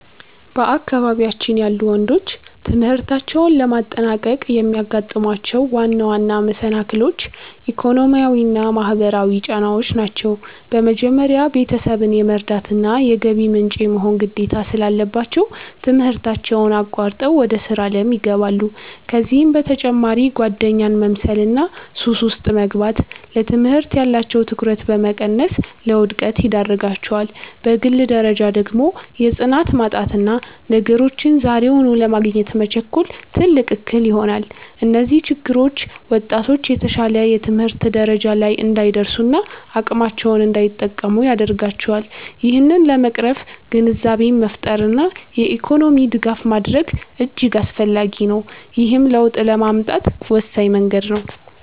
በአካባቢያችን ያሉ ወንዶች ትምህርታቸውን ለማጠናቀቅ የሚያጋጥሟቸው ዋና ዋና መሰናክሎች፣ ኢኮኖሚያዊና ማህበራዊ ጫናዎች ናቸው። በመጀመሪያ፣ ቤተሰብን የመርዳትና የገቢ ምንጭ የመሆን ግዴታ ስላለባቸው፣ ትምህርታቸውን አቋርጠው ወደ ሥራ ዓለም ይገባሉ። ከዚህም በተጨማሪ ጓደኛን መምሰልና ሱስ ውስጥ መግባት፣ ለትምህርት ያላቸውን ትኩረት በመቀነስ ለውድቀት ይዳርጋቸዋል። በግል ደረጃ ደግሞ የጽናት ማጣትና ነገሮችን ዛሬውኑ ለማግኘት መቸኮል፣ ትልቅ እክል ይሆናል። እነዚህ ችግሮች ወጣቶች የተሻለ የትምህርት ደረጃ ላይ እንዳይደርሱና አቅማቸውን እንዳይጠቀሙ ያደርጋቸዋል። ይህንን ለመቅረፍ ግንዛቤን መፍጠርና የኢኮኖሚ ድጋፍ ማድረግ እጅግ አስፈላጊ ነው፤ ይህም ለውጥ ለማምጣት ወሳኝ መንገድ ነው።